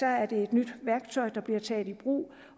er det et nyt værktøj der bliver taget i brug